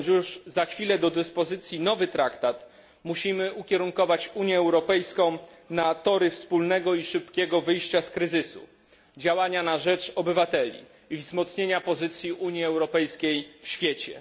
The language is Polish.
Mając już za chwilę do dyspozycji nowy traktat, musimy ukierunkować Unię Europejską na tory wspólnego i szybkiego wyjścia z kryzysu, działania na rzecz obywateli i wzmocnienia pozycji Unii Europejskiej w świecie.